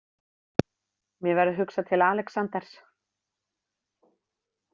Mér verður hugsað til Alexanders.